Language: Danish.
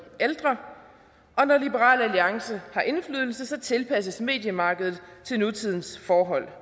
ældre og når liberal alliance har indflydelse tilpasses mediemarkedet til nutidens forhold